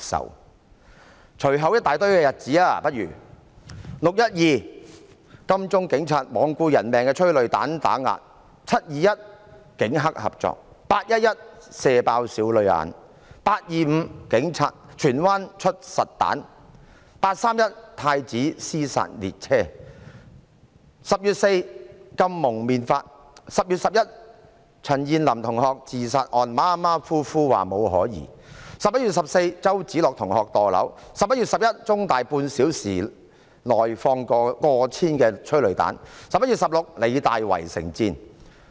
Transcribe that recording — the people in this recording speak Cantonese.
讓我列舉以下一大堆日子："六一二"，警察在金鐘罔顧人命，發放催淚彈打壓市民；"七二一"，警黑合作；"八一一"，"射爆少女眼"；"八二五"，警察在荃灣發射實彈；"八三一"，太子"屍殺列車 "；10 月4日，訂立《禁止蒙面規例》；10 月11日，對於陳彥霖同學的自殺案，馬馬虎虎地說沒有可疑 ；11 月14日，周梓樂同學墮樓 ；11 月11日，在香港中文大學半小時內發放過千枚催淚彈 ；11 月16日，香港理工大學圍城戰。